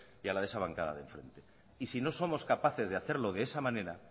y a la de esa bancada de enfrente y si no somos capaces de hacerlo de esa manera